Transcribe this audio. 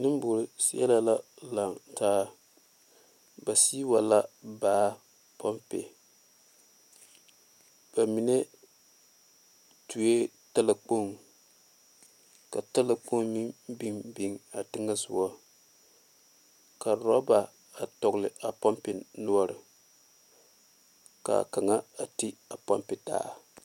Nenbore sale la lantaa ba sige wa la baa ponpe ba mine tuo talakpoŋ ka talakpoŋ meŋ biŋ biŋ a teŋa soga ka oroba dogle a ponpe noɔre kaa kaŋa a ti a ponpe taa.